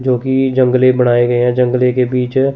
जो कि जंगलों बनाए गए है जंगले के पीछे--